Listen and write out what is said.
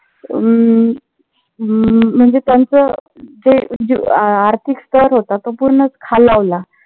अं हम्म म्हणजे त्याचं जे जे आर्थिकस्तर होता तो पूर्णच खालावला.